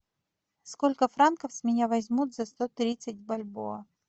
сколько франков с меня возьмут за сто тридцать бальбоа